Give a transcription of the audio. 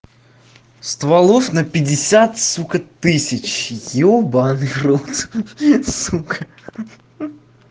стволов на пятьдесят сука тысяч ёбанный рот хи-хи сука хи-хи